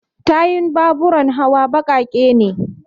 tayun baburan hawa baƙaƙe ne